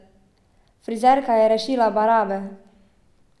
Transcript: Frizerka je rešila barabe!